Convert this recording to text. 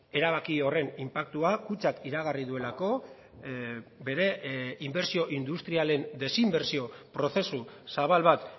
erabaki horren inpaktua kutxak iragarri duelako bere inbertsio industrialen desinbertsio prozesu zabal bat